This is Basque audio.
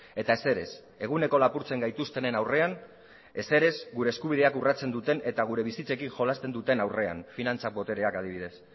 eta ezer ez eguneko lapurtzen gaituztenen aurrean ezer ez gure eskubideak urratzen duten eta gure bizitzekin jolasten duten aurrean finantzak botereak adibidez